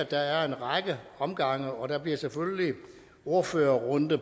der er en række omgange og der bliver selvfølgelig ordførerrunde